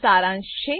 સારાંશ છે